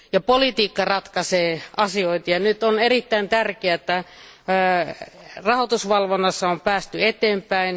Politiikka ratkaisee asioita ja on erittäin tärkeää, että nyt on rahoitusvalvonnassa päästy eteenpäin.